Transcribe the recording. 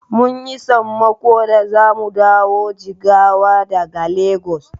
Mun yi sammako da zamu dawo Jigawa daga Legas.